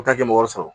N ta kɛ mɔgɔ sɔrɔ